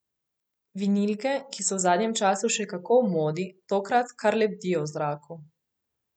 Vinilke, ki so v zadnjem času še kako v modi, tokrat kar lebdijo v zraku.